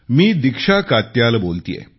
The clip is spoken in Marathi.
मी दीक्षा कात्याल बोलतेय